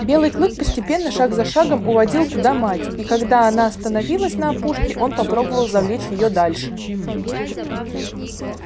белый клык постепенно шаг за шагом уводил туда мать и когда она остановилась на опушке он попробовал завлечь её дальше